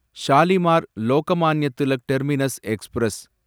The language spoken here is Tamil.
Shalimar Lokmanya Tilak terminus express